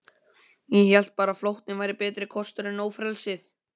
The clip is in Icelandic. Ég hélt bara að flóttinn væri betri kostur en ófrelsið.